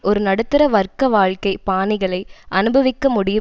ஒரு நடுத்தர வர்க்க வாழ்கை பாணிகளை அனுபவிக்க முடியும்